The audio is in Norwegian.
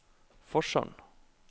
Forsand